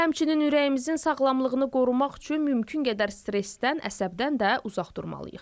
Həmçinin ürəyimizin sağlamlığını qorumaq üçün mümkün qədər stressdən, əsəbdən də uzaq durmalıyıq.